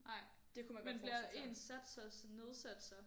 Nej men bliver ens sats så også nedsat så